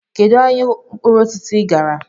Kedu ahịa mkpụrụ osisi ị gara?